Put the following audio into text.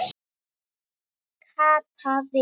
Kata við.